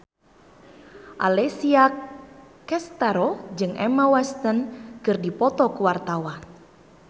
Alessia Cestaro jeung Emma Watson keur dipoto ku wartawan